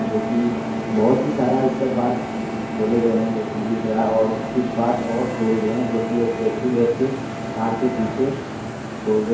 जो कि बहुत ही सारा इसका पार्ट्स खोले गए हैं जो कि दिख रहा है और कुछ पार्ट्स और खोल रहे हैं जो कि एक व्यक्ति बैठ के कार के पीछे खोल रहे हैं।